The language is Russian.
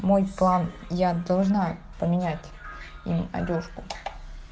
мой план я должна поменять им одёжку